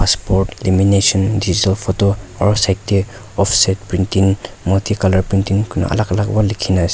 port limination digital photo aro side tae offset printing multi printing kuina alak alak pa likhinaase.